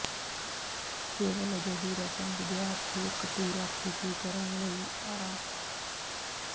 ਕੇਵਲ ਅਜਿਹੀ ਰਸਮ ਵਿਦਿਆਰਥੀ ਇੱਕ ਪੂਰਾ ਖ਼ੁਸ਼ੀ ਕਰਨ ਲਈ ਆ